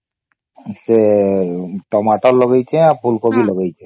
ସେ ଟମାଟର ଲଗେଇଛେ ଆଉ ସେ ଫୁଲ କୋବି ଲଗେଇଛେ